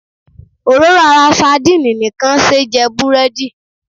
Òróró ara sadíìnì nìkan ṣé jẹ búrẹ́dì.